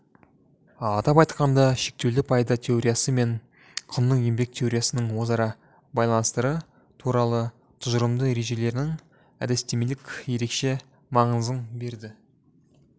атап айтқанда шектеулі пайда теориясы мен құнның еңбек теориясының өзара байланыстары туралы тұжырымды ережелерінің әдістемелік ерекше маңызың берді